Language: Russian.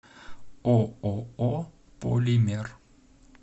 ооо полимер